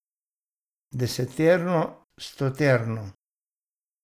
Deseterno, stoterno.